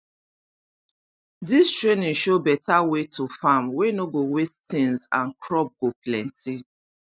this training show better way to farm wey no go waste things and crop go plenty